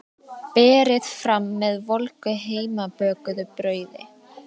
Berið fram með volgu heimabökuðu brauði.